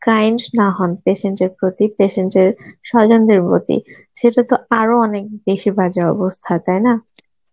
kind না হন patient এর প্রতি patient এর স্বজনদের প্রতি সেটা তো আরো অনেক বেশি বাজে অবস্থা, তাই না?